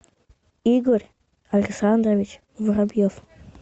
игорь александрович воробьев